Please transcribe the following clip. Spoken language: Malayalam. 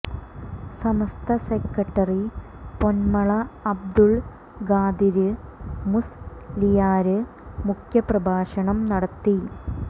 സമസ്ത സെക്രട്ടറി പൊന്മള അബ്ദുല് ഖാദിര് മുസ് ലിയാര് മുഖ്യ പ്രഭാഷണം നടത്തി